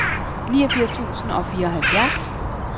niogfirs tusind og fireoghalvfjerds